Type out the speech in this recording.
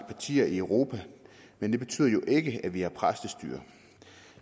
partier i europa men det betyder jo ikke at vi har præstestyre